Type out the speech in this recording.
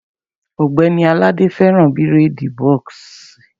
Ògbẹ́ni Àlàdé fẹ́ràn bírèèdì bọ́ọ̀ksì